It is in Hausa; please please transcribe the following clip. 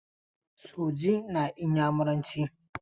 Soji na Inyamuranci.